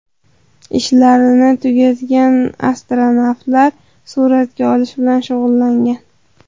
Ishlarini tugatgan astronavtlar suratga olish bilan shug‘ullangan.